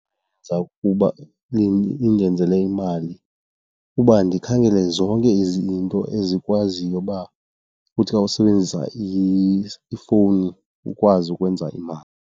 Yenza ukuba indenzele imali uba ndikhangele zonke izinto ezikwaziyo uba kuthi xa usebenzisa ifowuni ukwazi ukwenza imali.